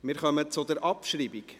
Wir kommen zur Abschreibung.